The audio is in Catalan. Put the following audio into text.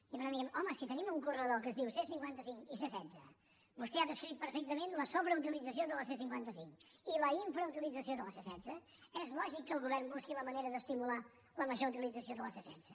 i per tant diem home si tenim un corredor que es diu c cinquanta cinc i c setze vostè ha descrit perfectament la sobreutilització de la c cinquanta cinc i la infrautilització de la c setze és lògic que el govern busqui la manera d’estimular la major utilització de la c setze